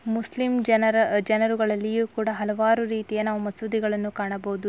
Muslim ಜನರ ಜನರುಗಳಲ್ಲಿಯೂ ಕೂಡ ಹಲವಾರು ರೀತಿಯ ನಾವು ಮಸೂದಿಗಳನ್ನು ಕಾಣಬಹುದು.